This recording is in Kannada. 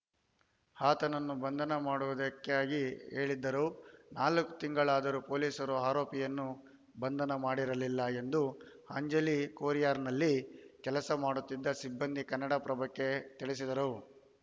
ಆತನನ್ನು ಬಂಧನ ಮಾಡುವುದಾಗಿ ಹೇಳಿದ್ದರು ನಾಲ್ಕು ತಿಂಗಳಾದರೂ ಪೊಲೀಸರು ಆರೋಪಿಯನ್ನು ಬಂಧನ ಮಾಡಿರಲಿಲ್ಲ ಎಂದು ಅಂಜಲಿ ಕೊರಿಯರ್‌ನಲ್ಲಿ ಕೆಲಸ ಮಾಡುತ್ತಿದ್ದ ಸಿಬ್ಬಂದಿ ಕನ್ನಡಪ್ರಭಕ್ಕೆ ತಿಳಿಸಿದರು